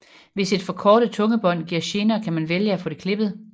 Hvis et forkortet tungebånd giver gener kan man vælge at få det klippet